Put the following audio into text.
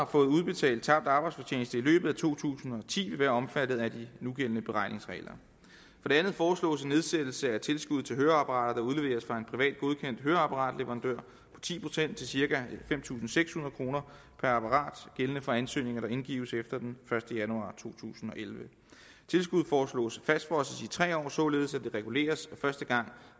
får udbetalt tabt arbejdsfortjeneste i løbet af to tusind og ti vil være omfattet af de nugældende beregningsregler for det andet foreslås en nedsættelse af tilskuddet til høreapparater der udleveres fra en privat godkendt høreapparatleverandør på ti procent til cirka fem tusind seks hundrede kroner per apparat gældende for ansøgninger der indgives efter den første januar to tusind og elleve tilskuddet foreslås fastfrosset i tre år således at det reguleres første gang